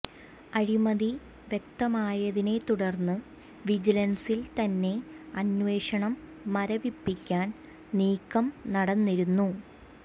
അഴിമതി വ്യക്തമായതിനെ തുടർന്ന് വിജിലൻസിൽ തന്നെ അന്വേഷണം മരവിപ്പിക്കാൻ നീക്കം നടന്നിരുന്നു